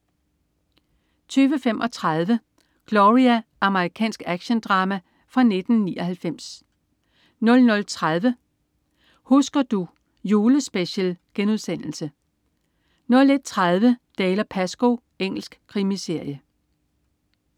20.35 Gloria. Amerikansk actiondrama fra 1999 00.30 Husker du. Julespecial* 01.30 Dalziel & Pascoe. Engelsk krimiserie